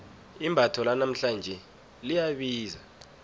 imbatho lanamhlanje liyabiza